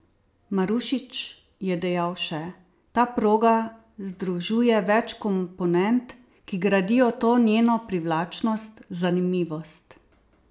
Marušič je dejal še: "Ta proga združuje več komponent, ki gradijo to njeno privlačnost, zanimivost.